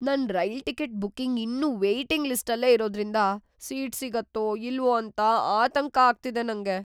ನನ್ rail ticket booking ಇನ್ನೂ waiting ಲಿಸ್ಟಲ್ಲೇ ಇರೋದ್ರಿಂದ ಸೀಟ್‌ ಸಿಗತ್ತೋ ಇಲ್ವೋ ಅಂತ ಆತಂಕ ಆಗ್ತಿದೆ ನಂಗೆ.